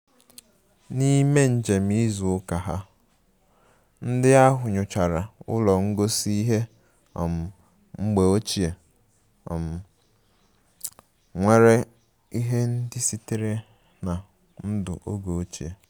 N'ime njem izu ụka ha, ndị ahụ nyochara ụlọ ngosi ihe um mgbe ochie um nwere ihe ndị sitere na ndụ oge ochie